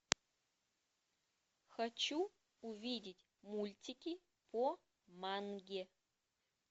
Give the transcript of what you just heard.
хочу увидеть мультики по манге